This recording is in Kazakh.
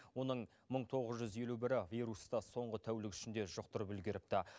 оның мың тоғыз жүз елу бірі вирусты соңғы тәулік ішінде жұқтырып үлгеріпті